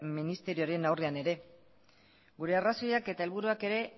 ministerioaren aurrean ere gure arrazoiak eta helburuak ere